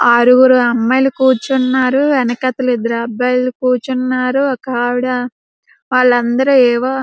ఆరుగురు అమ్మాయిలు కూర్చున్నారు వెనకాతల ఇద్దరు అబ్బాయిలు కూర్చున్నారు ఒక ఆవిడ వాళ్ళందరూ ఏవో--